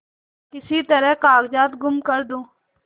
किसी तरह कागजात गुम कर दूँ